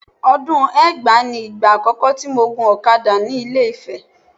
Ọdún ẹgbàá ni ìgbà àkọ́kọ́ tí mo gun ọ̀kadà ni Ilé-Ifẹ̀